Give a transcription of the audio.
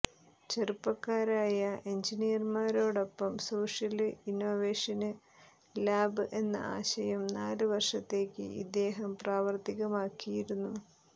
ചെറുപ്പക്കാരായ എന്ജിനീയര്മാരോടൊപ്പം social innovation lab എന്ന ആശയം നാല് വര്ഷത്തേക്ക് ഇദ്ദേഹം പ്രാവര്ത്തികമാക്കിയിരുന്നു